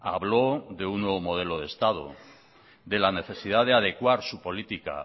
habló de un nuevo modelo de estado de la necesidad de adecuar su política